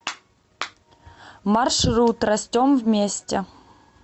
маршрут растем вместе